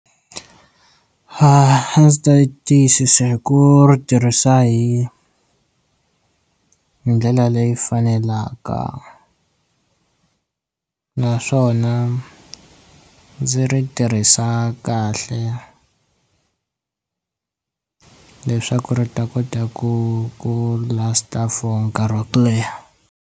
A ndzi ta tiyisisa hi ku ri tirhisa hi hi ndlela leyi faneleka naswona ndzi ri tirhisa kahle leswaku ri ta kota ku ku last-a for nkarhi wa ku leha.